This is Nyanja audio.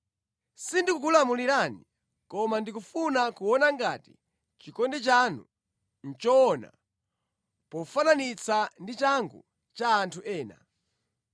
Sindikukulamulirani, koma ndikufuna kuona ngati chikondi chanu nʼchoona pofananitsa ndi changu cha anthu ena.